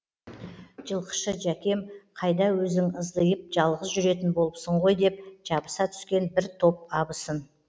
жылқышы жәкем қайда өзің ыздиып жалғыз жүретін болыпсың ғой деп жабыса түскен бір топ абысын